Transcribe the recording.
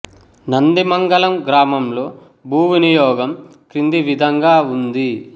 నందిమంగళం గ్రా లో భూ వినియోగం కింది విధంగా ఉంది